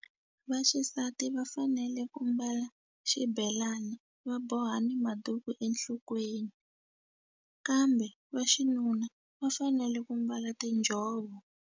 Vaxisati va fanele ku mbala xibelani va boha ni maduku enhlokweni kambe va xinuna va fanele ku mbala tinjhovo.